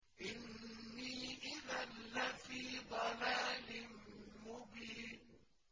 إِنِّي إِذًا لَّفِي ضَلَالٍ مُّبِينٍ